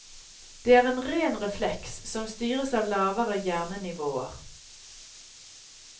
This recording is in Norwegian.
Det er en ren refleks, som styres av lavere hjernenivåer.